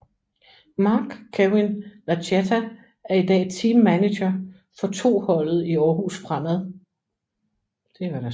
Marc Kewin Lachetta er i dag Team Manager for 2 holdet i Aarhus Fremad